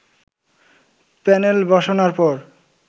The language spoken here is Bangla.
প্যানেলবসানোর পর